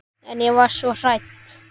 En ég var svo hrædd.